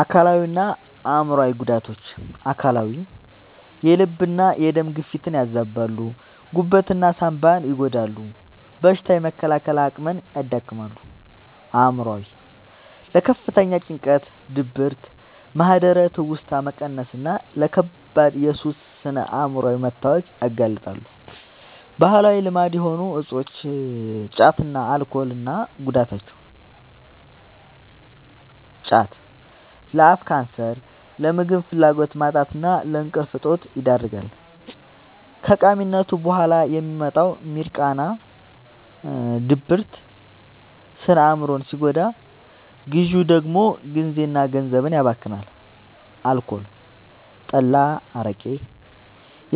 አካላዊና አእምሯዊ ጉዳቶች፦ አካላዊ፦ የልብና የደም ግፊትን ያዛባሉ፣ ጉበትና ሳንባን ይጎዳሉ፣ በሽታ የመከላከል አቅምን ያዳክማሉ። አእምሯዊ፦ ለከፍተኛ ጭንቀት፣ ድብርት፣ ማህደረ-ትውስታ መቀነስና ለከባድ የሱስ ስነ-አእምሯዊ መታወክ ያጋልጣሉ። ባህላዊ ልማድ የሆኑ እፆች (ጫትና አልኮል) እና ጉዳታቸው፦ ጫት፦ ለአፍ ካንሰር፣ ለምግብ ፍላጎት ማጣትና ለእንቅልፍ እጦት ይዳርጋል። ከቃሚነቱ በኋላ የሚመጣው «ሚርቃና» (ድብርት) ስነ-አእምሮን ሲጎዳ፣ ግዢው ደግሞ ጊዜና ገንዘብን ያባክናል። አልኮል (ጠላ፣ አረቄ)፦